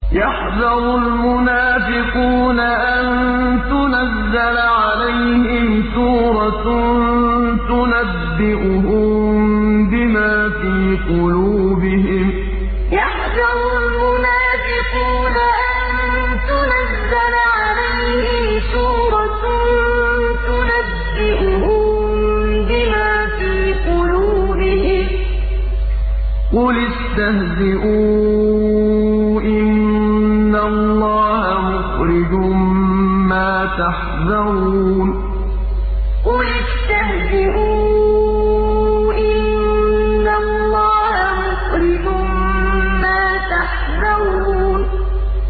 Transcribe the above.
يَحْذَرُ الْمُنَافِقُونَ أَن تُنَزَّلَ عَلَيْهِمْ سُورَةٌ تُنَبِّئُهُم بِمَا فِي قُلُوبِهِمْ ۚ قُلِ اسْتَهْزِئُوا إِنَّ اللَّهَ مُخْرِجٌ مَّا تَحْذَرُونَ يَحْذَرُ الْمُنَافِقُونَ أَن تُنَزَّلَ عَلَيْهِمْ سُورَةٌ تُنَبِّئُهُم بِمَا فِي قُلُوبِهِمْ ۚ قُلِ اسْتَهْزِئُوا إِنَّ اللَّهَ مُخْرِجٌ مَّا تَحْذَرُونَ